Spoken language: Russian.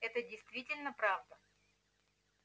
это действительно правда